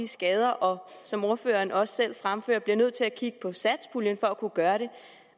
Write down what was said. skaden og som ordføreren også selv fremfører bliver vi nødt til at kigge på satspuljen for at kunne gøre det